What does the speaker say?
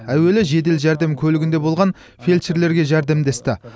әуелі жедел жәрдем көлігінде болған фельдшерлерге жәрдемдесті